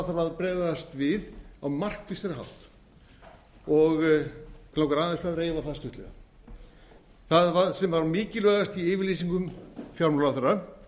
þarf að bregðast við á markvissari hátt og mig langar aðeins að reifa það stuttlega það sem var mikilvægast í yfirlýsingu fjármálaráðherra